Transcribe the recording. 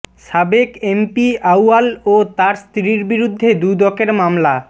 সাবেক এমপি আউয়াল ও তার স্ত্রীর বিরুদ্ধে দুদকের মামলা